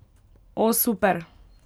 O, super!